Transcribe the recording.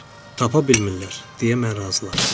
"Tapa bilmirlər," deyə mən razılaşdım.